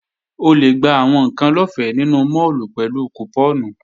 O lè gba àwọn ǹkan lọ́fẹ́ nínú máàlù pẹ̀lú kùpọ́ọ̀nù